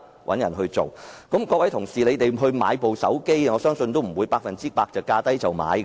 我相信各位同事購買手提電話也不會百分之百是價低便購買的，對嗎？